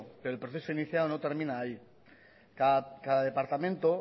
pero el proceso iniciado no termina ahí cada departamento